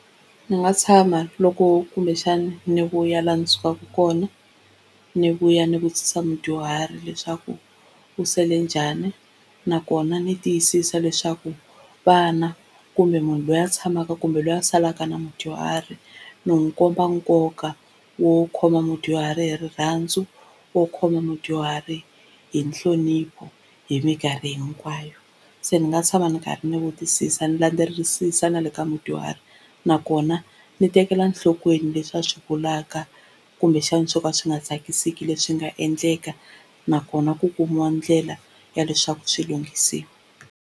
Ndzi nga tshama loko kumbexani ni vuya laha ndzi sukaka kona ni vuya ni vutisa mudyuhari leswaku u sele njhani, nakona ndzi tiyisisa leswaku vana kumbe munhu loyi a tshamaka kumbe loyi a salaka na mudyuhari ni n'wi komba nkoka wo khoma mudyuhari hi rirhandzu, wo khoma mudyuhari hi nhlonipho hi minkarhi hinkwayo. Se ni nga tshama ni karhi ni vutisisa ni landzelerisa na le ka mudyuhari nakona ni tekela nhlokweni leswi a swi vulaka kumbexana swo ka swi nga tsakisiki leswi nga endleka nakona ku kumiwa ndlela ya leswaku swi lunghisiwa.